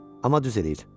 Amma düz eləyir.